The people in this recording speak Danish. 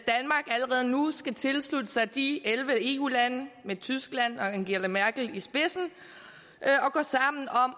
allerede nu skal tilslutte sig de elleve eu lande med tyskland og angela merkel i spidsen